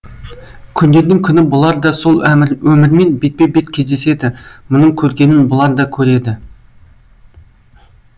күндердің күні бұлар да сол өмірмен бетпе бет кездеседі мұның көргенін бұлар да көреді